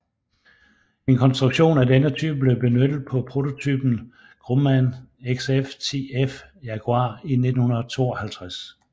En konstruktion af denne type blev benyttet på prototypen Grumman XF10F Jaguar i 1952